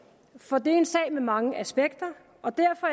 for det er en sag med mange aspekter og derfor